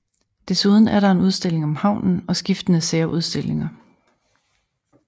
Desuden er der en udstilling om havnen og skiftende særudstillinger